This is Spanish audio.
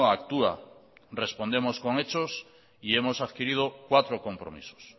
actúa respondemos con hechos y hemos adquirido cuatro compromisos